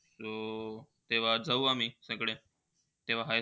तेव्हा जाऊ आम्ही तकडे. तेव्हा हैस